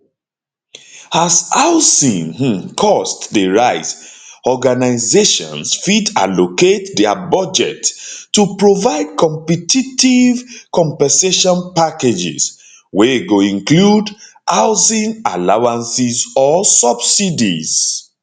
as housing um cost dey rise organizations fit allocate dia budgets to provide competitive compensation packages wey go include housing allowances or subsidies